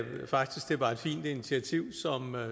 det var et fint initiativ